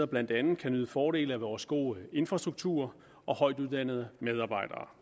blandt andet kan nyde fordele af vores gode infrastruktur og højtuddannede medarbejdere